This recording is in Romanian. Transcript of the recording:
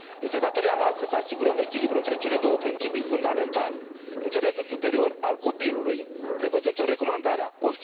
Este de datoria noastră să asigurăm echilibrul între cele două principii fundamentale interesul superior al copilului, prevăzut în Recomandarea nr.